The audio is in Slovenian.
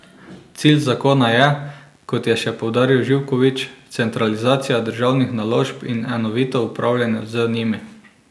Cilj zakona je, kot je še poudaril Živkovič, centralizacija državnih naložb in enovito upravljanje z njimi.